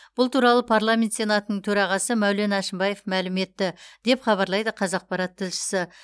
бұл туралы парламент сенатының төрағасы мәулен әшімбаев мәлім етті деп хабарлайды қазақпарат тілшісі